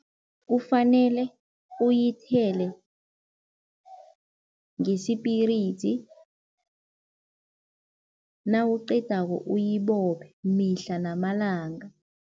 Kufanele uyithele ngesipiridzi nawuqedako uyibophe mihla namalanga.